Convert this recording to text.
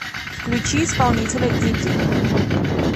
включи исполнителя дидди